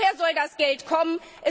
Woher soll das Geld kommen?